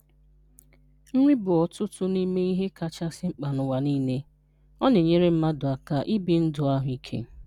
Nri bụ otu n'ime ihe kachasị mkpa n’ụwa niile, ọ na-enyere mmadụ aka ibi ndụ ahụike.